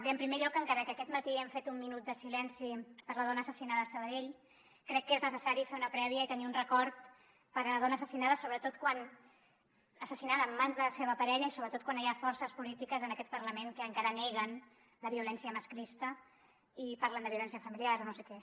bé en primer lloc encara que aquest matí hem fet un minut de silenci per la dona assassinada a sabadell crec que és necessari fer una prèvia i tenir un record per la dona assassi·nada assassinada en mans de la seva parella sobretot quan hi ha forces polítiques en aquest parlament que encara neguen la violència masclista i parlen de violència familiar o no sé què